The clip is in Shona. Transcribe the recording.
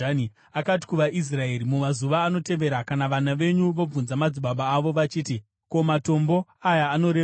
Akati kuvaIsraeri, “Mumazuva anotevera kana vana venyu vobvunza madzibaba avo vachiti, ‘Ko, matombo aya anorevei?’